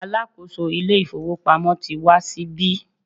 alákóso ilé ifowópamọ́ ti wá sí ibí